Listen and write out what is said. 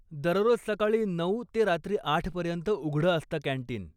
दररोज सकाळी नऊ ते रात्री आठ पर्यंत उघडं असतं कॅन्टीन.